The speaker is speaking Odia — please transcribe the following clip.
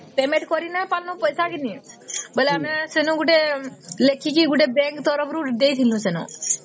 payment କରି ନ ପାରିବ ପଇସା କି ନାଇଁ ବୋଇଲେ ଆମେ ସ୍ୱେନୁ ଗୋଟେ ଲେଖିକି bank ତରଫରୁ ଦେଇଥିଲୁ ସେନ